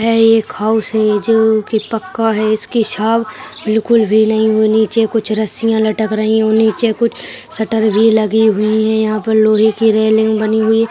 यह एक हाउस है जो की पक्का है इसकी छांव बिल्कुल भी नहीं होनी चाहिए कुछ रस्सियाँ लटक रही नीचे कुछ शटर भी लगी हुई है यहां पर लोहे की रेलिंग बनी हुई है।